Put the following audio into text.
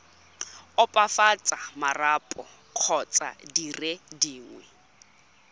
opafatsa marapo kgotsa dire dingwe